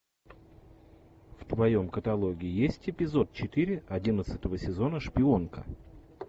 в твоем каталоге есть эпизод четыре одиннадцатого сезона шпионка